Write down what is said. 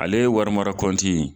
Ale wari mara konte in